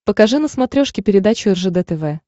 покажи на смотрешке передачу ржд тв